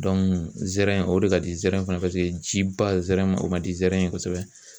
zɛrɛn o de ka di zɛrɛn fana paseke jiba zɛrɛn o man di zɛrɛn ye kosɛbɛ.